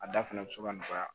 A da fɛnɛ bi se ka nɔgɔya